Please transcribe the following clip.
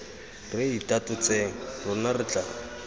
re itatotseng rona re tla